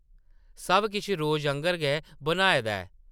सब किश रोजा आंगर गै बनाए दा ऐ ।